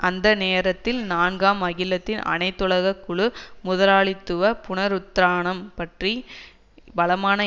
அந்த நேரத்தில் நான்காம் அகிலத்தின் அனைத்துலக குழு முதலாளித்துவ புனருத்தானம் பற்றி பலமான